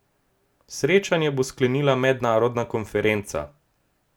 Srečanje bo sklenila mednarodna konferenca.